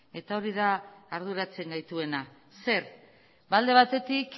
eta hori da arduratzen gaituena zer alde batetik